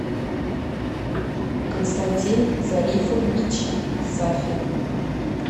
константин зарифович сафин